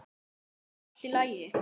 Það er allt í lagi